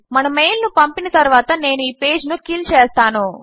మన మెయిల్ ను పంపిన తరువాత నేను ఈ పేజ్ ను కిల్ చేస్తాను